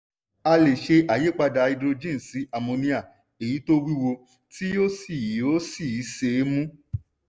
a lè ṣe àyípadà háídírójìn sí àmóníà èyí tí ó wúwo tí ó sì ó sì ṣe é mú.